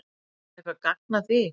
Er eitthvert gagn að því?